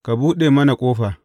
Ka buɗe mana ƙofa!’